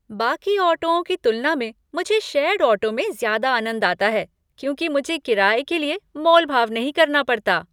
बाकी ऑटोओं की तुलना में मुझे शेयर्ड ऑटो में ज़्यादा आनंद आता है क्योंकि मुझे किराये के लिए मोल भाव नहीं करना पड़ता।